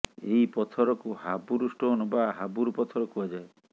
ଏହି ପଥରକୁ ହାବୁର ଷ୍ଟୋନ୍ ବା ହାବୁର ପଥର କୁହାଯାଏ